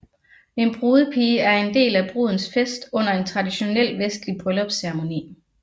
En brudepige er en del af brudens fest under en traditionel vestlig bryllupsceremoni